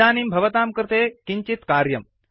इदानीं भवतां कृते किञ्चित् कार्यम्